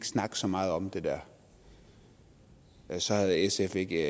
snakke så meget om det der så havde sf ikke